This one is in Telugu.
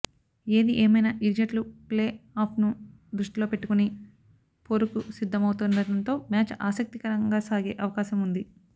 ఏది ఏమైనా ఇరు జట్లు ప్లేఆఫ్ను దృష్టిలో పెట్టుకుని పోరుకు సిద్ధమవుతుండటంతో మ్యాచ్ ఆసక్తికరంగా సాగే అవకాశం ఉంది